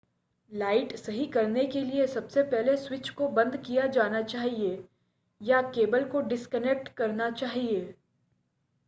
light सही करने के लिए सबसे पहले स्विच को बंद किया जाना चाहिए या केबल को डिस्कनेक्ट करना चाहिए